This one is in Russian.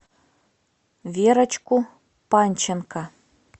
верочку панченко